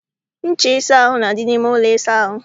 Ncha eji asa ahụ na-adị n'ime ụlọ ịsa ahụ.